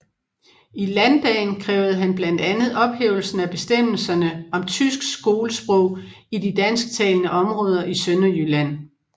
I landdagen krævede han blandt andet ophævelsen af bestemmelserne om tysk skolesprog i de dansk talende områder i Sønderjylland